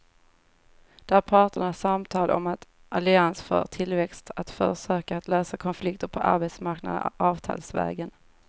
Det är parternas samtal om en allians för tillväxt, ett försök att lösa konflikterna på arbetsmarknaden avtalsvägen.